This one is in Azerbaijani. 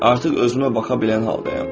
Artıq özümə baxa bilən haldayam.